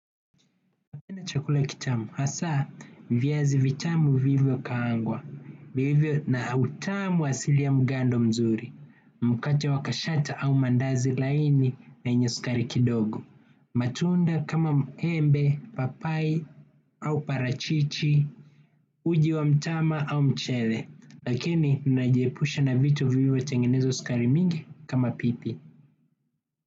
Napenda chakula kitamu, hasaa viazi vitamu vilivyokaangwa, vilivyo na utamu asilia mgando mzuri mkate wa kashata au maandazi laini yenye sukari kidogo. Matunda kama muembe, papai au parachichi, uji wa mtama au mchele, lakini ninajiepusha na vitu vilivyo tengenezwa sukari mingi kama pipi.